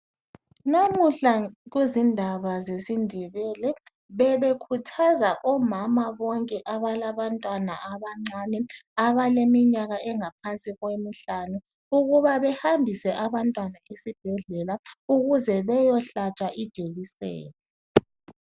Namuhla kuzindaba zesiNdebele bebekhuthaza omama bonke abalabantwana abancane abaleminyaka engaphansi kwemihlanu ukuba bahambise abantwana esibhedlela ukuze beyohlwatshwa ijekiseni.